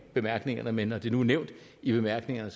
bemærkningerne men når det nu er nævnt i bemærkningerne